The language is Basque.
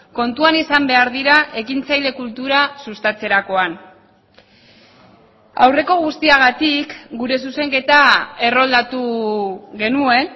kontuan izan behar dira ekintzaile kultura sustatzerakoan aurreko guztiagatik gure zuzenketa erroldatu genuen